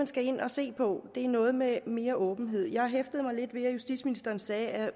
skal ind og se på er noget med mere åbenhed jeg hæftede mig lidt ved at justitsministeren sagde at